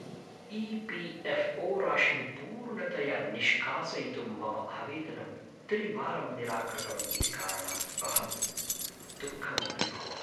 EPFO. राशिं पूर्णतया निष्कासयितुं मम आवेदनं त्रिवारं निराकृतम् इति कारणात् अहं दुःखम् अनुभवामि।